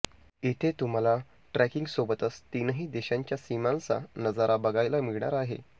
इथे तुम्हाला ट्रेकिंगसोबतच तीनही देशांच्या सीमांचा नजारा बघायला मिळणार आहे